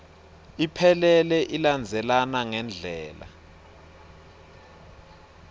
iphelele ilandzelana ngendlela